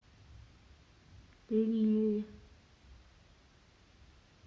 лилль